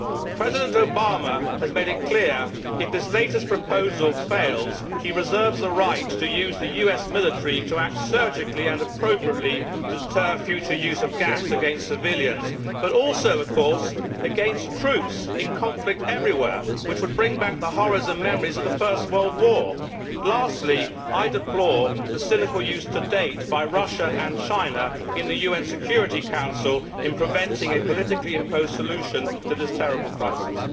President Obama has made it clear that if this latest proposal fails he reserves the right to use the US military to act surgically and appropriately to deter future use of gas against civilians and also, of course, against troops in conflict everywhere, which would bring back the horrors and memories of the First World War. Lastly, I deplore the cynical use to date by Russia and China of the UN Security Council in preventing a politically imposed solution to this terrible crisis.